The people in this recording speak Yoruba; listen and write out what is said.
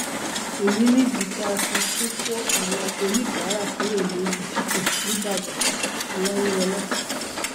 èyí nìdí tá a fi tún kó àwọn oníbàárà kúrò lójú títì nìbàdànoláyíwọlá